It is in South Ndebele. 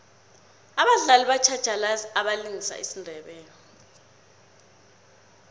abadlali batjhatjhalazi abalingisa isindebele